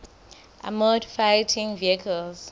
armoured fighting vehicles